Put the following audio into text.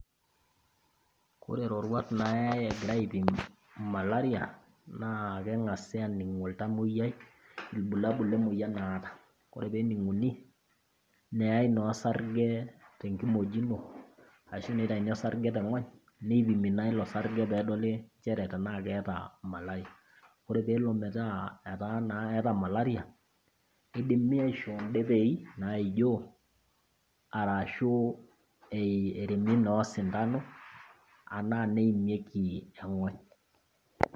Kore iroruat nayai egirai aipim malaria naa keng'asi aining oltamoyiai ilbulabul le moyian naata, ore pee ening'uni, neyai naa osarge tenkimojino ashu neitaini osarge teng'ony, neipimi naa ilo sarge pedoli nchere tenaa keata malaria. Ore peelo metaa etaa naa eata malaria, neidimi aishoo indepei naijoo arashu eremi naa osindano anaa neimieki eng'ony.